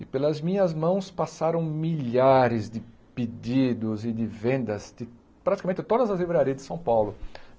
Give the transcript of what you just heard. E pelas minhas mãos passaram milhares de pedidos e de vendas de praticamente todas as livrarias de São Paulo.